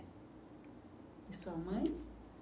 E sua mãe?